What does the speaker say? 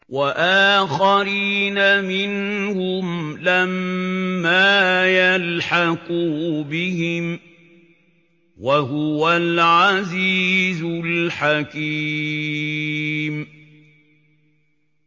وَآخَرِينَ مِنْهُمْ لَمَّا يَلْحَقُوا بِهِمْ ۚ وَهُوَ الْعَزِيزُ الْحَكِيمُ